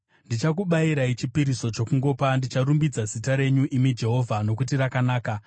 Ndichakubayirai chipiriso chokungopa; ndicharumbidza zita renyu, imi Jehovha, nokuti rakanaka.